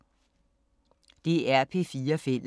DR P4 Fælles